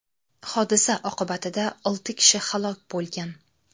Hodisa oqibatida olti kishi halok bo‘lgan.